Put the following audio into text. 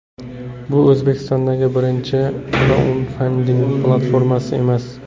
Bu O‘zbekistondagi birinchi kraudfanding platformasi emas.